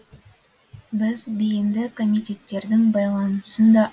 біз бейінді комитеттердің байланысын да